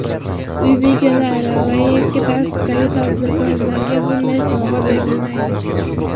Uy bekalari va yakka tartibdagi tadbirkorlarga bunday sovg‘a berilmaydi.